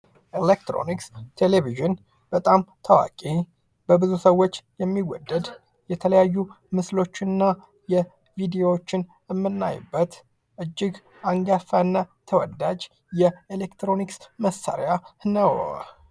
ኤሌትሮኒክስ ። ቴሌቪዥን በጣም ታዋቂ በብዙ ሰዎች የሚወደድ የተለያዩ ምስሎች እና የቪድዮዎችን ምናይበት እጅግ አንጋፋ እና ተወዳጅ የኤሌትሮኒክስ መሳሪያ ነው ።